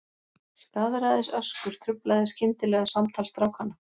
Skaðræðisöskur truflaði skyndilega samtal strákanna.